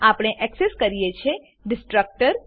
આપણે એક્સેસ કરીએ છીએ ડીસ્ટ્રકટર